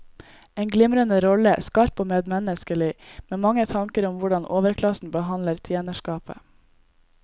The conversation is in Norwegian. En glimrende rolle, skarp og medmenneskelig med mange tanker om hvordan overklassen behandler tjenerskapet.